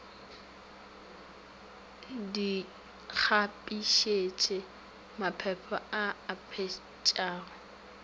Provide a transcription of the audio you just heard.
di kgabišitše maphephe a apešago